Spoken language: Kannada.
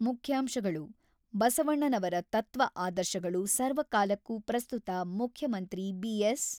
ಮುಖ್ಯಾಂಶಗಳು: ಬಸವಣ್ಣನವರ ತತ್ವ ಆದರ್ಶಗಳು ಸರ್ವಕಾಲಕ್ಕೂ ಪ್ರಸ್ತುತ ಮುಖ್ಯಮಂತ್ರಿ ಬಿ.ಎಸ್.